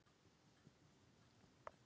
Meira að segja eggjabakkarnir voru horfnir.